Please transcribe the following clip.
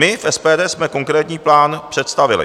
My v SPD jsme konkrétní plán představili.